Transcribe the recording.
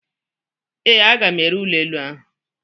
Ee, aga m ere ụlọ elu ahụ.